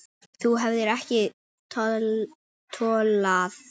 Þú hefðir ekki tollað þar.